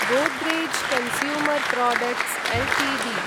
Godrej consumer products Ltd